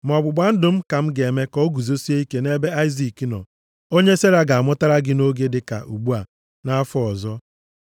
Ma ọgbụgba ndụ m ka m ga-eme ka o guzosie ike nʼebe Aịzik nọ, onye Sera ga-amụtara gị nʼoge dịka ugbu a nʼafọ ọzọ.”